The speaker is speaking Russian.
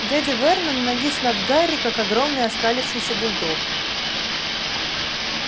дядя вернон навис над гарри как огромный оскалившийся бульдог